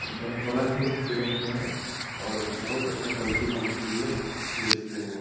अउ बर्फ वाला भी मछली रखे हैं और बहुत अच्छा क्वालिटी का मछली ये बेचते हैं।